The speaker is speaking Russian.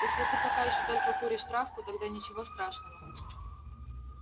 если ты пока ещё только куришь травку тогда ничего страшного